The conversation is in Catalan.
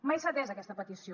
mai s’ha atès aquesta petició